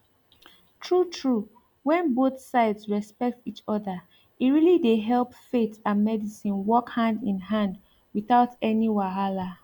true true when both sides respect each other e really dey help faith and medicine work hand in hand without any wahala